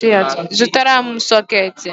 zụtara m sooketi